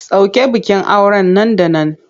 Soke bikin auren nan da nan!